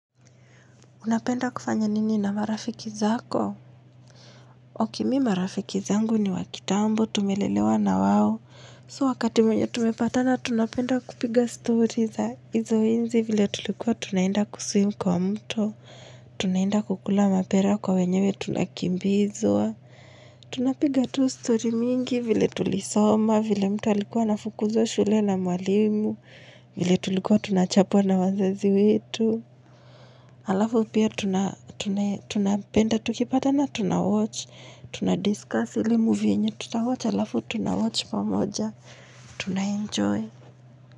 Unapenda kufanya nini na marafiki zako? Oke mi marafiki zangu ni wakitambo tumelelewa na wao. So wakati mwenye tumepatana tunapenda kupiga story za izo enzi vile tulikuwa tunaenda kuswim kwa mto. Tunaenda kukula mapera kwa wenyewe tunakimbizwa. Tunapiga tu story mingi vile tulisoma vile mtu alikua anafukuzwa shule na mwalimu vile tulikua tunachapwa na wazazi wetu. Halafu pia tuna tunae tunapenda tukipatana tunawatch, tunadiscuss ile movie yenye tutawatch, halafu tunawatch pamoja, tunaenjoy.